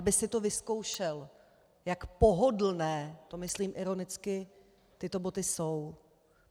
Aby si to vyzkoušel, jak pohodlné - to myslím ironicky - tyto boty jsou.